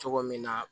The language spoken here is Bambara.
Cogo min na